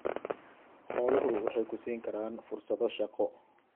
Xooluhu waxay ku siin karaan fursado shaqo.